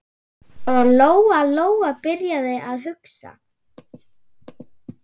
Og Lóa-Lóa byrjaði að hugsa.